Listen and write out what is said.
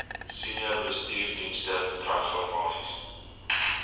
senior bestuursdienste transformasie